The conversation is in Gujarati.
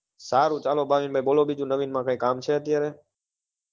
સારું ચાલો ભાવિન ભાઈ બોલો બીજું નવીન માં કઈ કામ છે અત્યાર